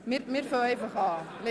– Wir beginnen einfach ().